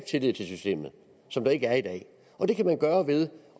tillid til systemet som der ikke er i dag og det kan gøre ved